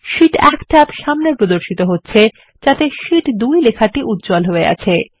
Sheet1 tab সামনে প্রদর্শিত হচ্ছে যাতে শীট 2 লেখাটি উজ্জ্বল হয়ে আছে